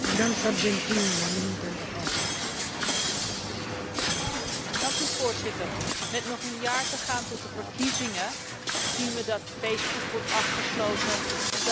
Voorzitter, met nog een jaar te gaan tot de verkiezingen zien we dat Facebook wordt afgesloten en dat de repressie erger wordt, dat mensenrechtenactivisten meer risico lopen.